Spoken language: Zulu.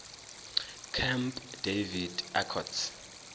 camp david accords